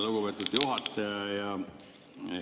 Lugupeetud juhataja!